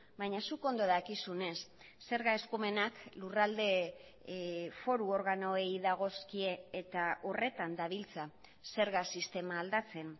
baina zuk ondo dakizunez zerga eskumenak lurralde foru organoei dagozkie eta horretan dabiltza zerga sistema aldatzen